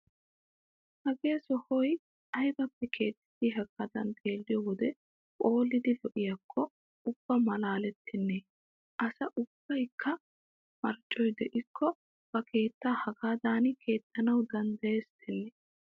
Hagee sohoy aybappe keexetti hagaadan xeelliyo wode phoolidi lo'iyakko ubba maalaaleeittennee! Asa ubbaykka marccoy de'iyakko ba keettaa hagaadan keexxanawu danddayeesittenne!